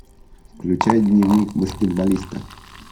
включай дневник баскетболиста